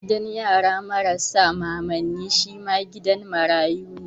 Gidan yara marasa mamanni shi ma gidan marayu ne.